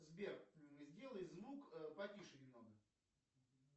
сбер сделай звук потише немного